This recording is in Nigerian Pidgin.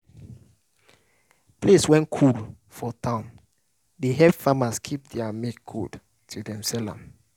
place wey cool for town dey help farmers keep their milk cold till dem sell am